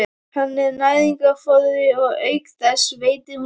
Hún er næringarforði og auk þess veitir hún skjól.